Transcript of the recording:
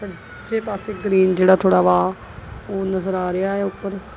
ਦੂਜੇ ਪਾਸੇ ਗਰੀਨ ਜਿਹੜਾ ਥੋੜਾ ਵਾ ਉਹ ਨਜ਼ਰ ਆ ਰਿਹਾ ਐ ਉੱਪਰ।